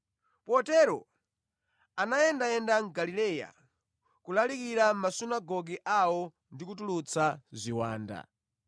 Potero anayendayenda mu Galileya, kulalikira mʼmasunagoge awo ndi kutulutsa ziwanda.